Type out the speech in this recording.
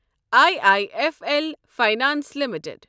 I I F L finance limited